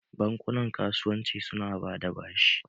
Bankuna .kasuwanci su na bada bashi